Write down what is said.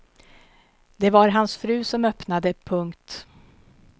Det var hans fru som öppnade. punkt